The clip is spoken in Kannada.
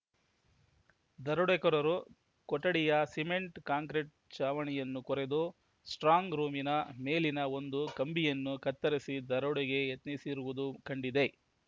ದರೋಡೆಕೋರರು ಕೊಠಡಿಯ ಸಿಮೆಂಟ್‌ ಕಾಂಕ್ರಿಟ್‌ ಚಾವಣಿಯನ್ನು ಕೊರೆದು ಸ್ಟ್ರಾಂಗ್‌ ರೂಮಿನ ಮೇಲಿನ ಒಂದು ಕಂಬಿಯನ್ನು ಕತ್ತರಿಸಿ ದರೋಡೆಗೆ ಯತ್ನಿಸಿರುವುದು ಕಂಡಿದೆ